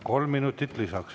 Kolm minutit lisaks.